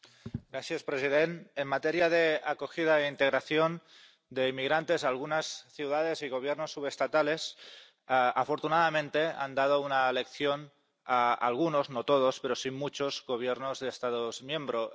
Señor presidente, en materia de acogida e integración de inmigrantes, algunas ciudades y Gobiernos subestatales afortunadamente han dado una lección a algunos, no todos, pero sí a muchos Gobiernos de Estados miembros.